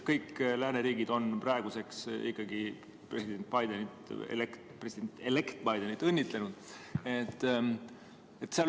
Kõik lääneriigid on praeguseks ikkagi president Bidenit, president‑elect Bidenit õnnitlenud.